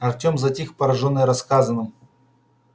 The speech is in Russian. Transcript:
артем затих поражённый рассказанным